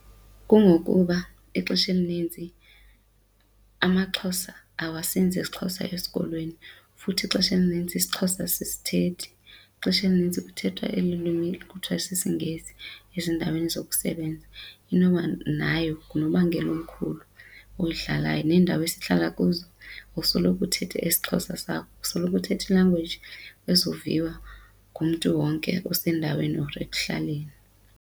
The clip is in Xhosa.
Kungokuba ixesha elinintsi amaXhosa awasenzi esiXhosa esikolweni futhi ixesha elinintsi isiXhosa asisithethi. Ixesha elinintsi kuthethwa eli lwimi kuthiwa sisiNgesi ezindaweni zokusebenza, inoba nayo ngunobangela omkhulu oyidlalayo neendawo esihlala kuzo kusoloko uthetha esiXhosa sakho, kusoloko uthetha i-language ezoviwa ngumntu wonke osendaweni or ekuhlaleni.